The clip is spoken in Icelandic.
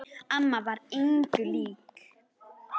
Amma var engum lík.